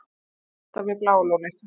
Bílvelta við Bláa lónið